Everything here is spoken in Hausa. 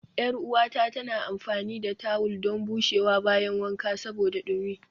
Yar uwata tana amfani da tawul don bushewa bayan wanka saboda dumi